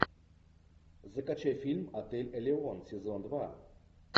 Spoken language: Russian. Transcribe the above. закачай фильм отель элеон сезон два